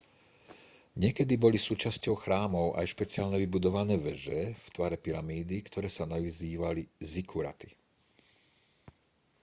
niekedy boli súčasťou chrámov aj špeciálne vybudované veže v tvare pyramídy ktoré sa nazývali zikkuraty